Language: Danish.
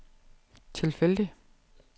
tilfældig